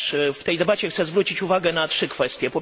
W tej debacie chcę zwrócić uwagę na trzy kwestie.